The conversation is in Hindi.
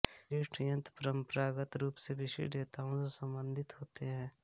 विशिष्ट यंत्र परंपरागत रूप से विशिष्ट देवताओं से संबंधित होते हैं